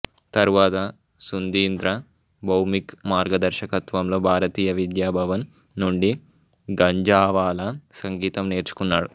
తరువాత సుంధీంద్ర భౌమిక్ మార్గదర్శకత్వంలో భారతీయ విద్యా భవన్ నుండి గంజావాలా సంగీతం నేర్చుకున్నాడు